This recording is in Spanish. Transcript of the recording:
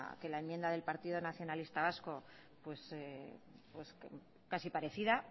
que la enmienda del partido nacionalista vasco pues casi parecida